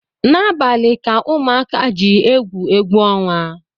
N’abalị ka ụmụka ji egwu egwuọnwa